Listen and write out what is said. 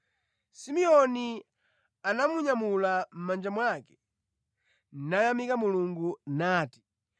Simeoni anamunyamula mʼmanja mwake nayamika Mulungu, nati: